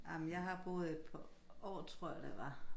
Ej men jeg har boet et par år tror jeg det var